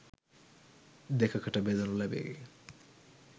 දෙකකට බෙදනු ලැබේ